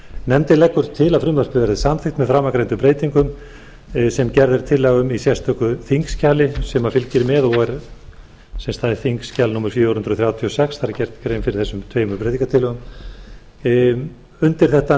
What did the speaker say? nefndin leggur til að frumvarpið verði samþykkt með framangreindum breytingum sem gerð er tillaga um í sérstöku þingskjali sem fylgir með það er þingskjal númer fjögur hundruð þrjátíu og sex það er gert grein fyrir þessum tveimur breytingartillögum undir þetta